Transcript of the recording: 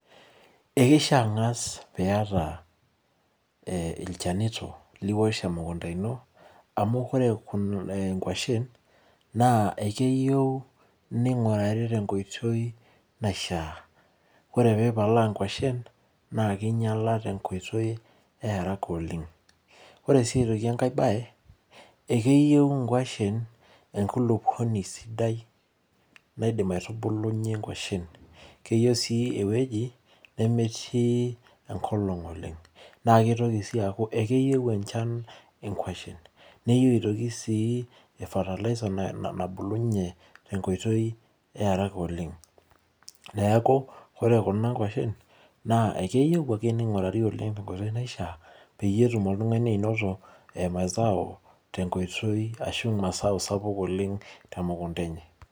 Ekeishia angas peyie iyata ilchanito liwosh emukunta ino amuu ore inkuashen naa ekeyieu neingurari tenkoitoi naishiaa. Ore peyie ipalaa inkuashen naa kelelek peyie einyiala tenkoitoi earaka oleng. Ore sii enkae bae naa keyieu inkuashen enkulupuoni sidai naidim aitubulunyie nkuashen. Keyieu sii ewueji nemetuu enkolong oleng. Keitoki sii aaku ekeyieu enchan inkuashen. Keyieu aitoki sii fataliser nabulubunye tenkoitoi earaka oleng. Neaku ore kuna kuashen ekeyieu ake neingurari tenkoitoi naishiaa peyie etum oltungani anato imazao tenkoitoi ashuu imasao kumok oleng temukunta enye.